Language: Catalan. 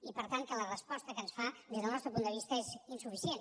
i per tant que la resposta que ens fa des del nostre punt de vista és insuficient